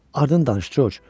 Ardı danış, Corc!